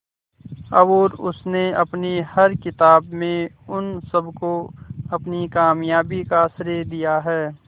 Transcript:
और उसने अपनी हर किताब में उन सबको अपनी कामयाबी का श्रेय दिया है